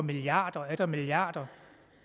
milliarder og atter milliarder